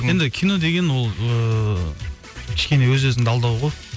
енді кино деген ол ыыы кішкене өз өзіңді алдау ғой